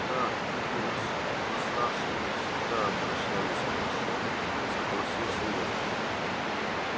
да в питере с восставшими всегда обращались хорошо согласился я